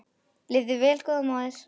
Lifðu vel góða móðir.